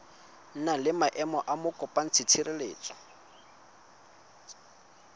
na le maemo a mokopatshireletso